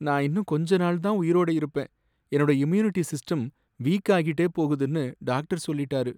நான் இன்னும் கொஞ்ச நாள் தான் உயிரோட இருப்பேன், என்னோட இம்யூனிட்டி சிஸ்டம் வீக் ஆகிட்டே போகுதுன்னு டாக்டர் சொல்லிட்டாரு.